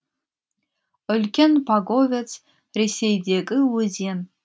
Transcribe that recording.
үлкен паговец ресейдегі өзен